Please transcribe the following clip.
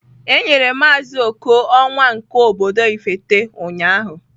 Enyere maazị Oko onwa nke obodo Ifite ụnyahụ.